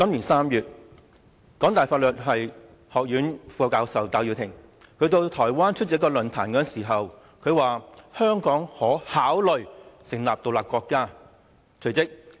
今年3月，香港大學法律學院副教授戴耀廷到台灣出席論壇時說到，香港可考慮成立獨立國家。